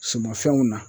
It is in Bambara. Sumanfɛnw na